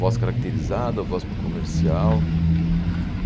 Voz caracterizada, voz para comercial.